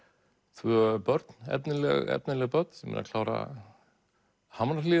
tvö börn efnileg efnileg börn sem eru að klára